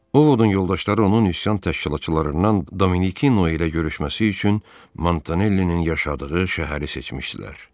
Ovodun yoldaşları onun üsyan təşkilatçılarından Dominikino ilə görüşməsi üçün Montanellinin yaşadığı şəhəri seçmişdilər.